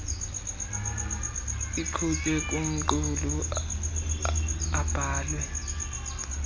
iqhutywe kumqulu abhalwe